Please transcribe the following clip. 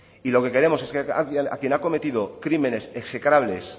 y lo que queremos es que a quien ha cometido crímenes execrables